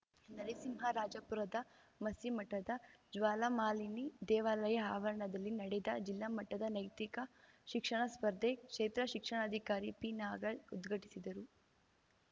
ನರಸಿಂಹರಾಜಪುರದ ಮಸ್ತಿಮಠದ ಜ್ವಾಲಾಮಾಲಿನಿ ದೇವಾಲಯ ಆವರಣದಲ್ಲಿ ನಡೆದ ಜಿಲ್ಲಾ ಮಟ್ಟದ ನೈತಿಕ ಶಿಕ್ಷಣ ಸ್ಪರ್ಧೆ ಕ್ಷೇತ್ರ ಶಿಕ್ಷಣಾಧಿಕಾರಿ ಪಿನಾಗಲ್ ಉದ್ಘಾಟಿಸಿದರು